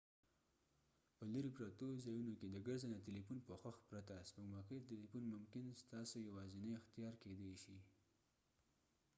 په لیرې پرتو ځایونو کې د ګرځنده تلیفون پوښښ پرته سپوږمکۍ تلیفون ممکن ستاسي یوازینۍ اختیار کيدي شي